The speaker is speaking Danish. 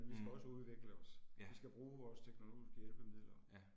Mh. Ja. Ja